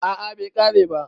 a a bai kare ba